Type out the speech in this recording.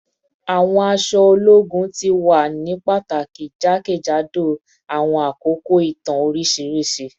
Awọn aṣọ ologun ti wa ni pataki jakejado awọn akoko itan oriṣiriṣi